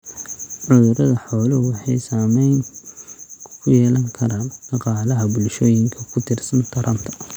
Cudurada xooluhu waxay saamayn ku yeelan karaan dhaqaalaha bulshooyinka ku tiirsan taranta.